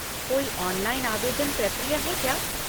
कोई ऑनलाइन आवेदन प्रक्रिया है क्या?